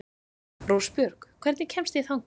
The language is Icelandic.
Rósbjörg, hvernig kemst ég þangað?